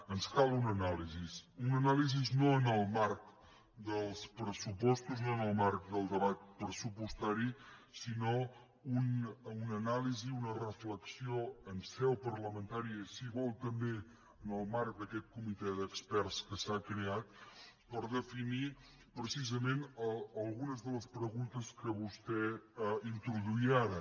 ens cal una anàlisi una anàlisi no en el marc dels pressupostos no en el marc del debat pressupostari sinó una anàlisi una reflexió en seu parlamentària i si ho vol també en el marc d’aquest comitè d’experts que s’ha creat per definir precisament algunes de les preguntes que vostè introduïa ara